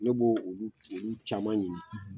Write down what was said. Ne b'o olu olu caman ɲini